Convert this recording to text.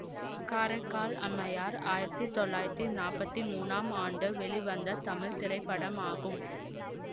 காரைக்கால் அம்மையார் ஆயிரத்தி தொள்ளாயிரத்தி நாப்பத்தி மூனாம் ஆண்டு வெளிவந்த தமிழ் திரைப்படமாகும்